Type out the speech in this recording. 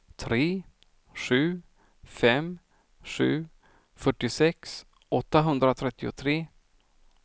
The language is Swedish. tre sju fem sju fyrtiosex åttahundratrettiotre